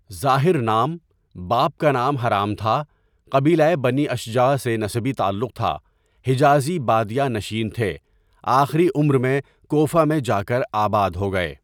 Zahir نام، باپ کا نام حرام تھا، قبیلۂ بنی اشجع سے نسبی تعلق تھا حجازی بادیہ نشین تھے آخری عمر میں کوفہ میں جاکر آباد ہو گئے.